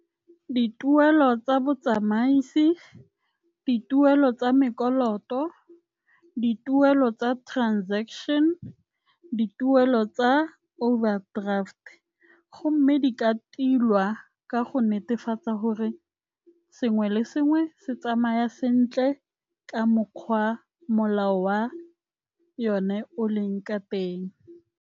Dituelo tsa botsamaisi, dituelo tsa , dituelo tsa transaction, dituelo tsa overdraft gomme di ka tilwa ka go netefatsa gore sengwe le sengwe se tsamaya sentle ka mokgwa molao wa yone o leng ka teng.